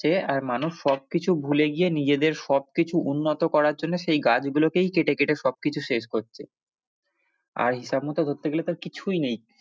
মানুষ সবকিছু ভুলে গিয়ে নিজেদের সবকিছু উন্নত করার জন্যে সেই গাছ গুলোকেই কেটে কেটে সবকিছু শেষ করছে আর হিসাব মতো ধরতে গেলে তো কিছুই নেই ।